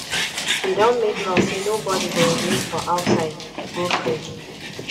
de don make law say nobody go urinate for outside go free